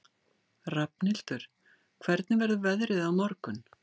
Rafnhildur, hvernig verður veðrið á morgun?